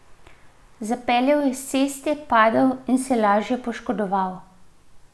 Zapeljal je s ceste, padel in se lažje poškodoval.